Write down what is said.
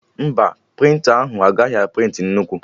Mba, prịnta ahụ agaghị a prịntị nnukwu